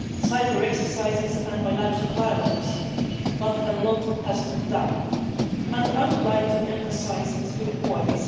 cyber exercises and bilateral dialogues, but a lot has to be done. I would like to emphasise three points.